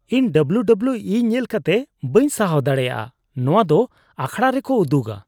ᱤᱧ W W ᱤ ᱧᱮᱞ ᱠᱟᱛᱮ ᱵᱟᱹᱧ ᱥᱟᱦᱟᱣ ᱫᱟᱲᱮᱭᱟᱜᱼᱟ ᱾ ᱱᱚᱣᱟ ᱫᱚ ᱟᱠᱷᱲᱟ ᱨᱮᱠᱚ ᱩᱫᱩᱜᱟ